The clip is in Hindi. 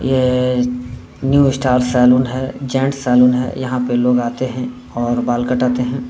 ये न्यू स्टार सैलून है। जेंट्स सैलून है। यहाँ पे लोग आते हैं और बाल कटाते हैं।